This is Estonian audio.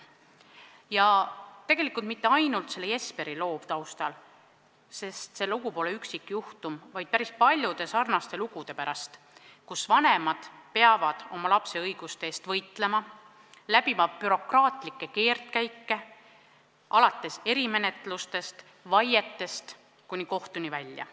Ja tegelikult mitte ainult selle Jesperi loo pärast, see lugu pole üksikjuhtum, vaid päris paljude sarnaste lugude pärast, kui vanemad peavad oma lapse õiguste eest võitlema, läbima bürokraatlikke keerdkäike alates erimenetlusest ja vaidest kuni kohtuni välja.